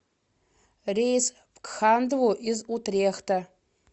рейс в кхандву из утрехта